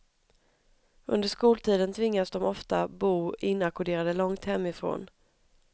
Under skoltiden tvingades de ofta bo inackorderade långt hemifrån.